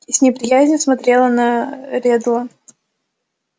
и с неприязнью смотрела на реддла